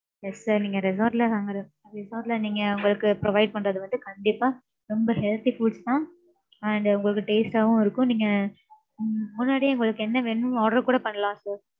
yes sir நீங்க resort ல வாங்குற resort ல, நீங்க உங்களுக்கு provide பண்றது வந்து, கண்டிப்பா, ரொம்ப healthy foods தான். And உங்களுக்கு taste ஆவும் இருக்கும். நீங்க, உம் முன்னாடியே உங்களுக்கு என்ன வேணும்ன்னு, order கூட பண்ணலாம் sir